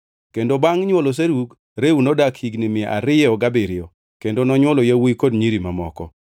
Kendo bangʼ nywolo Serug, Reu nodak higni mia ariyo gabiriyo kendo nonywolo yawuowi kod nyiri mamoko.